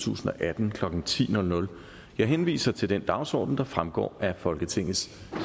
tusind og atten klokken ti jeg henviser til den dagsorden der fremgår af folketingets